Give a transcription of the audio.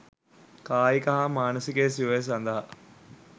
කායික හා මානසික සුවය සඳහා